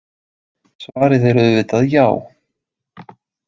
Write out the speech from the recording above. Svarið er auðvitað já.